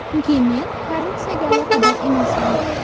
Chunki men korrupsiyaga aloqador emasman.